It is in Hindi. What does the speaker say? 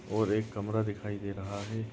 और एक कमरा दिखाई दे रहा है।